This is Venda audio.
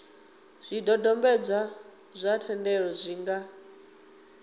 zwidodombedzwa zwa thendelo zwi nga